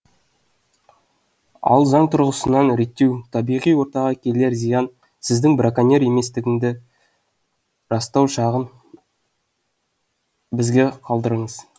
ал заң тұрғысынан реттеу табиғи ортаға келер зиян сіздің браконьер еместігіңді растау жағын бізге қалдырыңыз